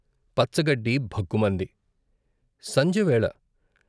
పచ్చగడ్డి భగ్గుమంది సంధ్యవేళ.